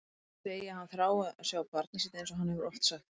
Að hann segi að hann þrái að sjá barnið sitt einsog hann hefur oft sagt.